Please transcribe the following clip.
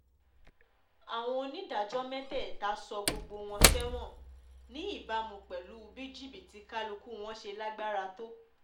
àwọn onídàájọ́ mẹ́tẹ̀ẹ̀ta sọ gbogbo wọn sẹ́wọ̀n ní ìbámu pẹ̀lú bí jìbìtì kálukú wọn ṣe lágbára tó